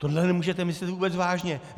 Tohle nemůžete myslet vůbec vážně!